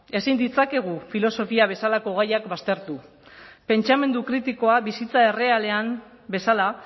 ezin ditzakegu filosofia bezalako gaiak baztertu pentsamendu kritikoa bizitza errealean bezala